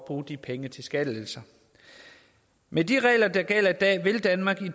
bruge de penge til skattelettelser med de regler der gælder i dag vil danmark